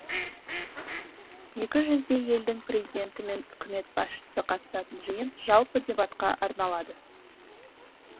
екі жүздей елдің президенті мен үкімет басшысы қатысатын жиын жалпы дебатқа арналады